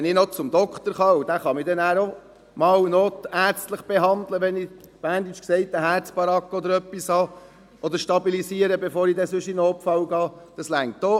Wenn ich noch zum Arzt gehen und er mich noch notärztlich behandeln kann ... Wenn ich, auf Berndeutsch gesagt, eine «Herzbaragge» oder etwas habe, das stabilisiert werden kann, bevor ich in den Notfall gehe, reicht dies auch.